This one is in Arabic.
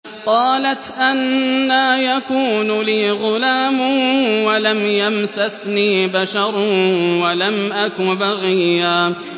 قَالَتْ أَنَّىٰ يَكُونُ لِي غُلَامٌ وَلَمْ يَمْسَسْنِي بَشَرٌ وَلَمْ أَكُ بَغِيًّا